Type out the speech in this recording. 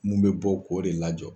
Mun be bɔ k'o de lajɔ.